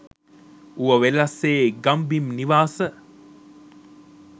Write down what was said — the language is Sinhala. ඌව වෙල්ලස්සේ ගම් බිම් නිවාස